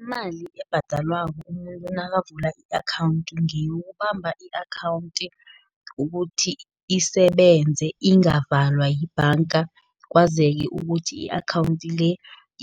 Imali ebhadalwako umuntu nakavula i-akhawundi, ngeyokubamba i-akhawunti ukuthi isebenze, ingavalwa yibhanga, kwazeke ukuthi i-akhawunti le.